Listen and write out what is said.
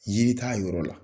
yƝiri t'a yɔrɔ la.